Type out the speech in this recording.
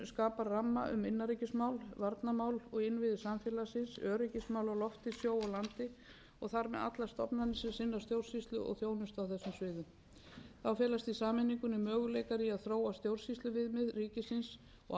skapa ramma um innanríkismál varnarmál og innviði samfélagsins öryggismál á lofti sjó og landi og þar með allar stofnanir sem sinna stjórnsýslu og þjónustu á þessum sviðum þá felast í sameiningunni möguleikar í að þróa stjórnsýsluviðmið ríkisins og áform um eflingu sveitarstjórnarstigs